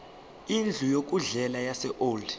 indlu yokudlela yaseold